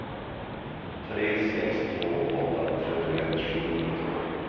tre sex två åtta trettioett sjuhundratolv